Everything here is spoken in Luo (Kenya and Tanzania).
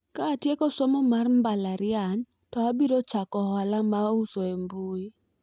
ka atieko somo mar mbalariany to abiro chako ohala mar uso e mbui